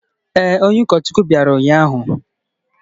Ee, onye ụkọchukwu bịara ụnyahụ.